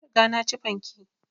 Na riga na ci fanke